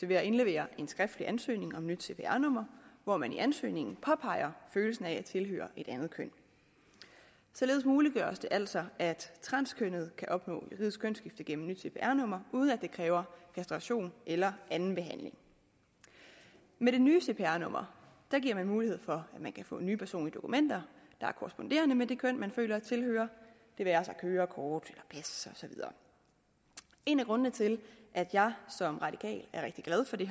ved at indlevere en skriftlig ansøgning om nyt cpr nummer hvor man i ansøgningen påpeger følelsen af at tilhøre et andet køn således muliggøres det altså at transkønnede kan opnå juridisk kønsskifte gennem nyt cpr numre uden at det kræver kastration eller anden behandling med det nye cpr nummer giver vi mulighed for at man kan få nye personlige dokumenter der er korresponderende med det køn man føler at tilhøre det være sig kørekort pas og så videre en af grundene til at jeg som radikal er rigtig glad for det